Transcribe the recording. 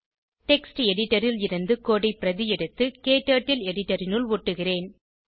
text editor ல் இருந்து code ஐ பிரதி எடுத்து க்டர்ட்டில் எடிட்டர் இனுள் ஒட்டுகிறேன்